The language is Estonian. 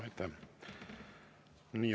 Aitäh!